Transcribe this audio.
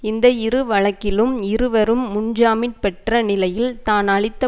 இந்த இரு வழக்கிலும் இருவரும் முன்ஜாமின் பெற்ற நிலையில் தான் அளித்த